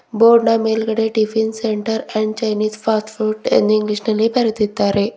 ಬೋರ್ಡ್ನ ಮೇಲ್ಗಡೆ tiffin centre and Chinese fast food ಎಂದು ಇಂಗ್ಲಿಷ್ ನಲ್ಲಿ ಬರೆದಿದ್ದಾರೆ.